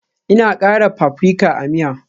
Ina kara paprika a miya